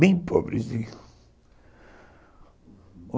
Bem pobrezinho, uhum.